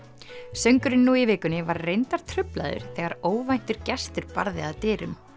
söngurinn nú í vikunni var reyndar truflaður þegar óvæntur gestur barði að dyrum